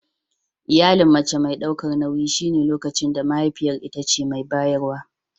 Iyalin mace mai daukar nauyi shine lokacin da mahaifiyar ita ce mai bayarwa.